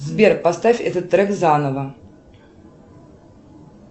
сбер поставь этот трек заново